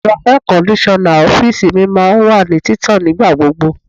Ẹ̀rọ air kondisona ọ́fíìsì mi máa ń wà ní títàn nígbà gbogbo.